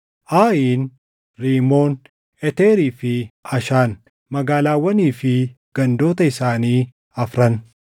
Ayin, Rimoon, Eteerii fi Ashaan, magaalaawwanii fi gandoota isaanii afran,